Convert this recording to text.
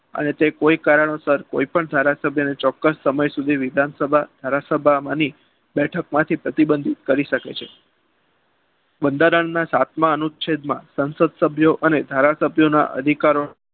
અને તે કોઈ કારણોસર કોઈપણ ધારાસભ્યને ચોક્કસ સમય સુધી વિધાનસભામાં ધારાસભામાં આવવાની બેઠકમાંથી પ્રતિબંધિત કરી શકે છે બંધારણના સાતમા અનુચ્છેદમાં ધારાસભ્યો અને સાંસદ સભ્યો ના અધિકારોનો